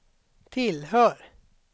tillhör